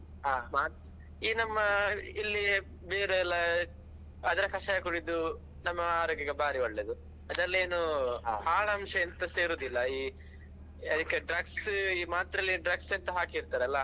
ಈ ನಮ್ಮ ಇಲ್ಲಿ ಬೇರೆಲ್ಲ ಅದ್ರ ಕಷಾಯ ಕುಡಿದು ನಮ್ಮ ಆರೋಗ್ಯಕ್ಕೆ ಬಾರಿ ಒಳ್ಳೇದು ಅದ್ರಲ್ಲಿ ಏನು ಹಾಳ್ ಅಂಶ ಎಂತಸ ಇರುದಿಲ್ಲ ಈ ಅದಿಕ್ಕೆ drugs ಈ ಮಾತ್ರೆಲ್ಲಿ drugs ಎಂತು ಹಾಕಿರ್ತಾರಲ್ಲಾ.